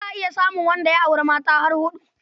Za a iya samun wanda ya auri har mata huɗu.